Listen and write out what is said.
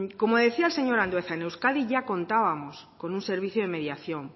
como decía el señor andueza en euskadi ya contábamos con un servicio de mediación